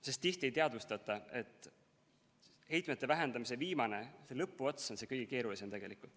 Sest tihti ei teadvustata, et heitmete vähendamise viimane lõpuots on kõige keerulisem.